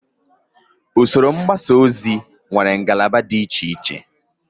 Usoro mgbasa ozi nwere ngalaba dị icheiche